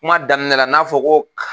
Kuma daminɛ la n'a fɔ ko